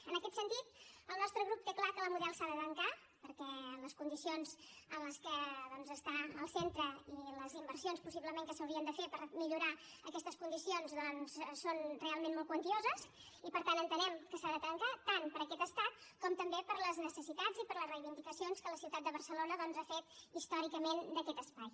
en aquest sentit el nostre grup té clar que la model s’ha de tancar perquè les condicions en les que està el centre i les inversions possiblement que s’haurien de fer per millorar aquestes condicions doncs són realment molt quantioses i per tant entenem que s’ha de tancar tant per aquest estat com també per les necessitats i per les reivindicacions que la ciutat de barcelona ha fet històricament d’aquest espai